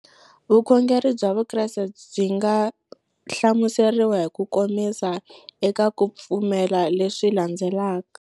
Vukhongeri bya Vukreste byi nga hlamuseriwa hi kukomisa eka ku pfumela leswi landzelaka.